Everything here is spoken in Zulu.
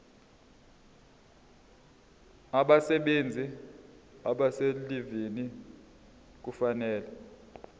abasebenzi abaselivini kufanele